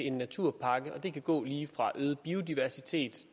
en naturpakke og det kan gå lige fra øget biodiversitet